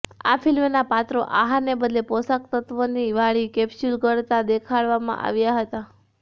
આ ફ્લ્મિના પાત્રો આહારને બદલે પોષક તત્ત્વોવાળી કેપ્સ્યુલ ગળતા દેખાડવામાં આવ્યા હતા